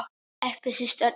Ekki síst Örnólf.